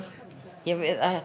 við